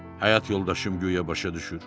Həyat yoldaşım guya başa düşür.